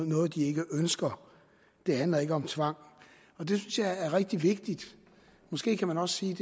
noget de ikke ønsker det handler ikke om tvang det synes jeg er rigtig vigtigt måske kan man også sige